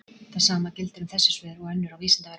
það sama gildir um þessi svör og önnur á vísindavefnum